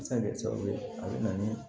A bɛ se ka kɛ sababu ye a bɛ na ni